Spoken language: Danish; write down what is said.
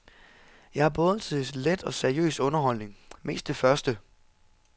Jeg er både til let og seriøs underholdning, mest det første.